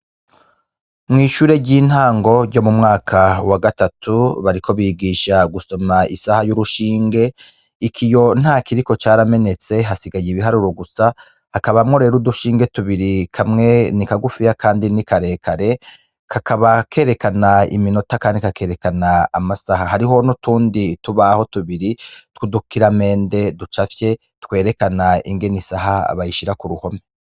Mw'ishure ry'intango ryo mu mwaka wa gatatu bariko bigisha gusoma isaha y'urushinge, iki iyo nta kiriko caramenetse hasigaye ibiharuru gusa hakabamwo rero udushinge tubiri kamwe ni kagufiya, kandi ni karekare kakaba kerekana iminota, kandi kakerekana amasahaha hariho ni utundi tubaho tubiri twudukira mende ducafye twerekana ingene isaha abayishira ku ruhome.